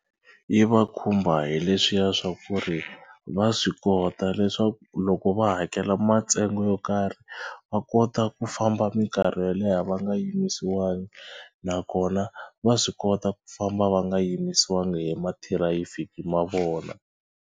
Yi va khumba hi leswiya swa ku ri va swi kota leswaku loko va hakela matsengo yo karhi va kota ku famba mikarhi yo leha va nga yimisiwangi nakona va swi kota ku famba va nga yimisiwangi hi mathirayifiki ma vona.